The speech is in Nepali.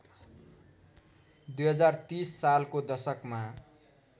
२०३० सालको दशकमा